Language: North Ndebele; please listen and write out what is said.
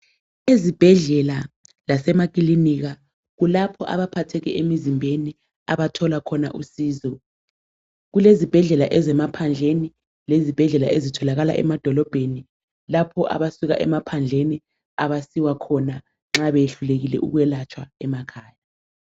Ezibhedlela lasemakilinika kulapho abaphatheke emizimbeni abathola usizo. Kulezibhedlela ezemaphandleni lezibhedlela ezitholakala lemadolobheni lapho abasuka emaphandleni abasiwa khona nxa behlulekile ukwelatshwa emakhaya.